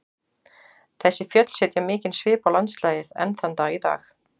Þessi fjöll setja mikinn svip á landslagið enn þann dag í dag.